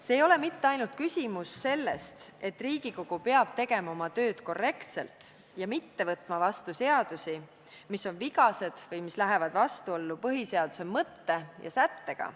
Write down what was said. Siin ei ole küsimus ainult selles, et Riigikogu peab tegema oma tööd korrektselt ja mitte võtma vastu seadusi, mis on vigased või mis lähevad vastuollu põhiseaduse mõtte ja sättega.